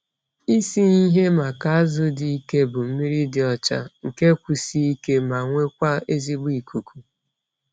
Isi ihe maka azụ dị ike bụ mmiri dị ọcha, nke kwụsie ike, ma nwekwaa ezigbo ikuku.